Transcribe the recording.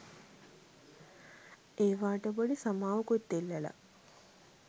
ඒවාට පොඩි සමාවකුත් ඉල්ලලා